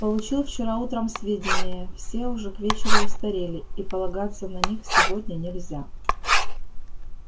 получил вчера утром сведения все уже к вечеру устарели и полагаться на них сегодня нельзя